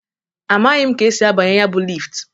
Amaghị m ka esi abanye ya bụ lift.